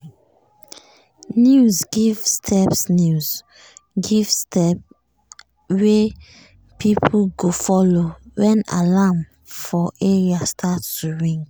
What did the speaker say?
news give step news give step wey people go follow wen alarm for area start to ring.